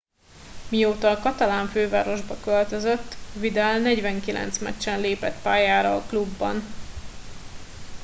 mióta a katalán fővárosba költözött vidal 49 meccsen lépett pályára a klubban